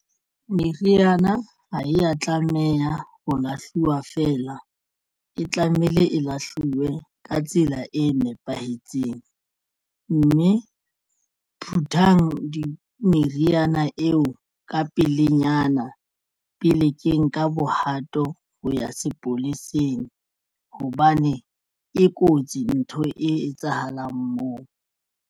Meriana ha ya tlameha ho lahluwa feela e tlamehile e lahluwe ka tsela e nepahetseng mme phuthang meriana eo ka pelenyana pele ke nka bohato ho ya sepoleseng hobane e kotsi ntho e etsahalang moo.